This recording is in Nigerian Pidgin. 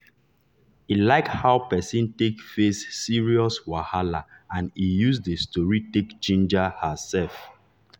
e like how person take face serious wahala and e use the story take ginger himself.